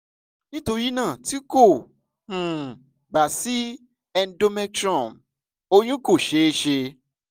nitorinaa ti ko um ba si endometrium oyun ko ṣee ṣe